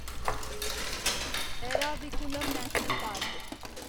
Eravikulam national park